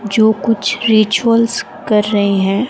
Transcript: जो कुछ रिचुअल्स कर रहे हैं।